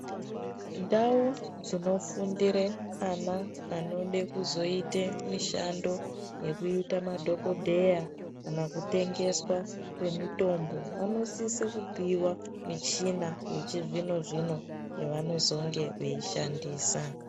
Ndau dzinofundire ana anode kuzoite mushando wekuita madhokodheya kana kutengeswa kwemutombo vanosiswe kupiwa michina yechizvino zvino yavanozonge veishandisa.